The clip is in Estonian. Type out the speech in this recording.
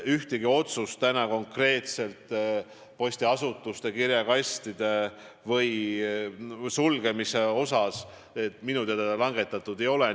Ühtegi otsust konkreetselt postiasutuste ja kirjakastide sulgemise kohta minu teada langetatud ei ole.